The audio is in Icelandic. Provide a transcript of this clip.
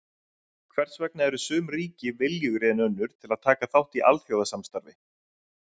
Hvers vegna eru sum ríki viljugri en önnur til að taka þátt í alþjóðasamstarfi?